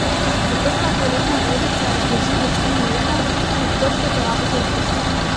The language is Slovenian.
Zaprta toaletna vodica zdrži do štiri leta, odprto porabite v dveh.